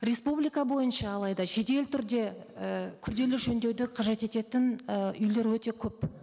республика бойынша алайда жедел түрде і күрделі жөндеуді қажет ететін і үйлер өте көп